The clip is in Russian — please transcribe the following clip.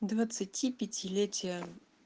двадцатипятилетие